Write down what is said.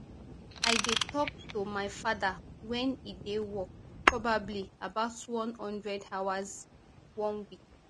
i dey tok to to my father wen e dey work probably about one hundred hours one week